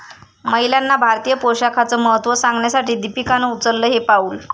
महिलांना भारतीय पोशाखाचं महत्त्व सांगण्यासाठी दीपिकानं उचललं हे पाऊल